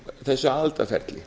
þessu aðildarferli